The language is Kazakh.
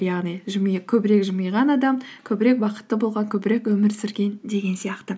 яғни көбірек жымиған адам көбірек бақытты болған көбірек өмір сүрген деген сияқты